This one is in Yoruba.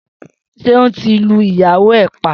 Seun ti lú ìyáwó ẹ̀ pà